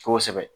Kosɛbɛ